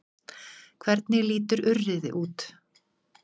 Hvernig lítur urriði út?